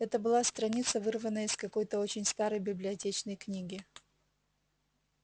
это была страница вырванная из какой-то очень старой библиотечной книги